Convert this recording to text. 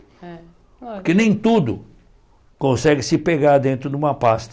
É Porque nem tudo consegue se pegar dentro de uma pasta.